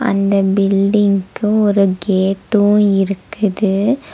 அந்த பில்டிங்கு ஒரு கேட்டூ இருக்குது.